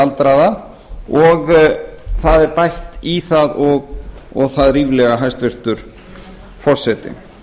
aldraða og það er bætt í það og það ríflega hæstvirtur forseti